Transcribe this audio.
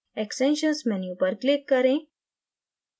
extensions menu पर click करें